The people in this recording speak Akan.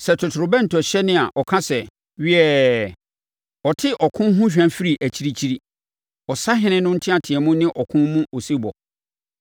Sɛ totorobɛnto hyɛne a ɔka sɛ, ‘Wiɛɛ!’ ɔte ɔko ho hwa firi akyirikyiri, ɔsahene no nteamu ne ɔko mu osebɔ.